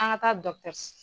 An ŋa taa s